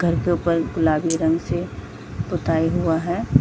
घर के ऊपर गुलाबी रंग से पोताई हुआ है।